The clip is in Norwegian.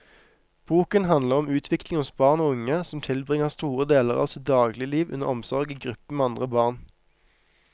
Boken handler om utvikling hos barn og unge som tilbringer store deler av sitt dagligliv under omsorg i gruppe med andre barn.